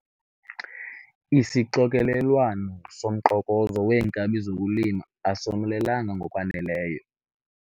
Isixokelelwano somqokozo weenkabi zokulima asomelelanga ngokwaneleyo.